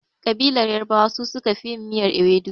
Ƙabilar yarbawa su suka fi yin miyar iwedu.